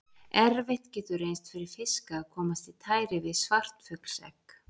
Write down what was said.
Erfitt getur reynst fyrir fiska að komast í tæri við svartfuglsegg.